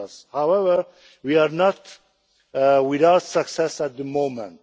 However, we are not without success at the moment.